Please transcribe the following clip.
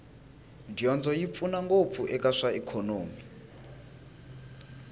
dyondzo yi pfuna ngopfu eka swa ikhonomi